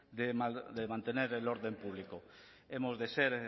de mantener el orden público hemos de ser